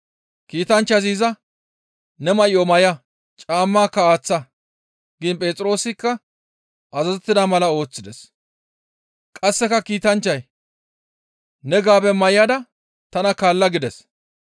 Kiitanchchazi iza, «Ne may7o may7a! Caammaka aaththa!» giin Phexroosikka azazettida mala ooththides; qasseka kiitanchchay, «Ne gaabe may7ada tana kaalla» gides.